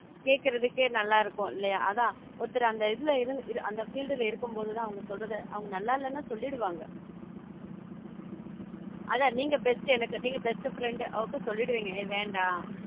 கேக்குறதுக்கு நல்லா இருக்கும் இல்லையா அதா ஒருத்தவங்க அந்த இதுல~ இருந் அந்த field இருக்கும் போது தா அவங்க சொல்றது அவங்க நல்லா இல்லனா சொல்லிடுவாங்க அதான் நீங்க best எனக்கு நீங்க best friend அப்போ சொல்லிடுவீங்க ய வேண்டாம்